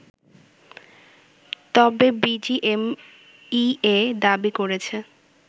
তবে বিজিএমইএ দাবি করেছে